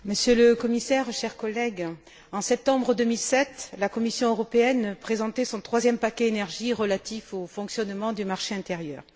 Madame la Présidente, Monsieur le Commissaire, chers collègues, en septembre 2007, la Commission européenne présentait son troisième paquet énergie relatif au fonctionnement du marché intérieur.